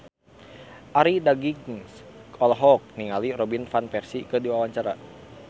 Arie Daginks olohok ningali Robin Van Persie keur diwawancara